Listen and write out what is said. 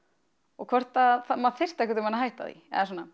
og hvort maður þyrfti einhvern tímann að hætta því